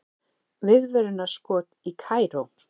Viðvörunarskot í Kaíró